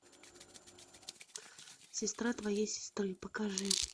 сестра твоей сестры покажи